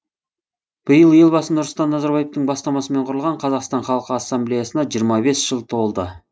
биыл елбасы нұрсұлтан назарбаевтың бастамасымен құрылған қазақстан халқы ассамблеясына жиырма бес жыл толды